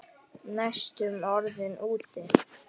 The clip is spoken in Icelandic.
Næstum orðinn úti